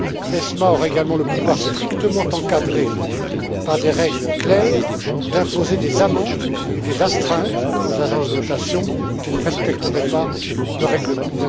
ESMA aura également le pouvoir, strictement encadré par des règles claires, d'imposer des amendes et des astreintes aux agences de notation qui ne respecteraient pas le règlement.